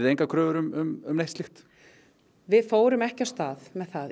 engar kröfur um neitt slíkt við fórum ekki af stað með það